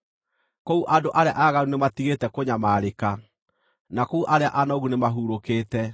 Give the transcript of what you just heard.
Kũu andũ arĩa aaganu nĩmatigĩte kũnyamarĩka, na kũu arĩa anogu nĩmahurũkĩte.